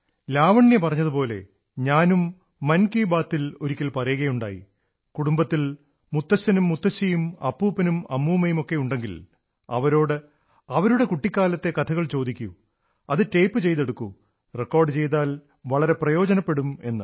ലാവണ്യ പറഞ്ഞതുപോലെ ഞാനും മൻ കീ ബാതിൽ ഒരിക്കൽ പറയുകയുണ്ടായി കുടുംബത്തിൽ മുത്തശ്ശനും മുത്തശ്ശിയും അപ്പൂപ്പനും അമ്മൂമ്മയുമൊക്കെയുണ്ടെങ്കിൽ അവരോട് അവരുടെ കുട്ടിക്കാലത്തെ കഥകൾ ചോദിക്കൂ അത് ടേപ് ചെയ്തെടുക്കൂ റെക്കാഡു ചെയ്താൽ വളരെ പ്രയോജനപ്പെടും എന്ന്